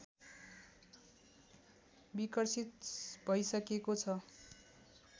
विकसित भैसकेको छ